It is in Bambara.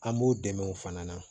An b'u dɛmɛ o fana na